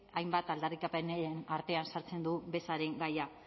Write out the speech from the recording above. hainbat aldarrikapenen artean sartzen du bezaren gaia